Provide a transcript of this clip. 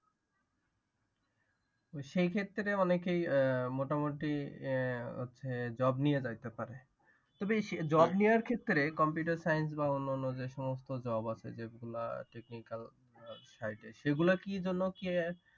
সেই ক্ষেত্রে অনেকেই মোটামুটি আহ হচ্ছে job নিয়ে যাইতে পারে। তবে job নেয়ার ক্ষেত্রে computer science বা অনন্যা যে সমস্ত job আছে যেগুলা technical side সেগুলা কি জন্যে কি